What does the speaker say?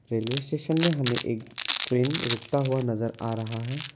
Railway station में हमें एक ट्रेन रुकता हुआ नजर आ रहा है।